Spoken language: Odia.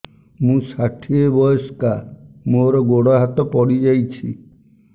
ମୁଁ ଷାଠିଏ ବୟସ୍କା ମୋର ଗୋଡ ହାତ ପଡିଯାଇଛି